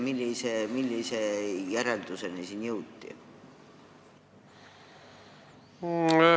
Millise järelduseni selles osas jõuti?